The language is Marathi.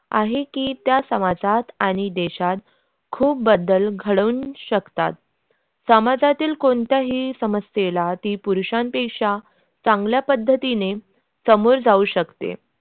आहे की त्या समाजात आणि देशात खूप बदल घडवून शकतात समाजातील कोणत्याही समस्येला स्त्री पुरुषापेक्षा चांगल्या पद्धतीने समोर जाऊ शकते.